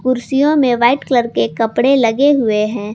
कुर्सियों में white colour के कपड़े लगे हुए हैं।